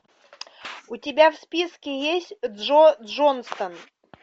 у тебя в списке есть джо джонсон